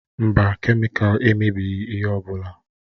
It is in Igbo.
Mba, kemịkalụ emebighị ihe ọ bụla.